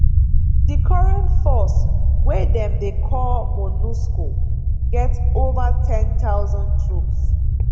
di current force wey dem dey call monusco get ova 10000 troops